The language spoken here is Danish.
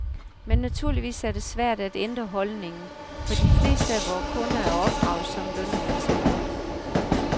Men naturligvis er det svært at ændre holdningen, for de fleste af vores kunder er opdraget som lønmodtagere.